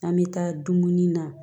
An bɛ taa dumuni na